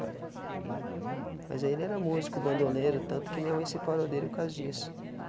Tá Mas ele era músico, bandoleiro, tanto que minha mãe separou dele, por caso disso.